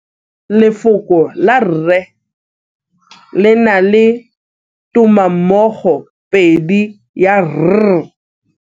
Lefoko la 'rre' le na le tumammogôpedi ya 'r'.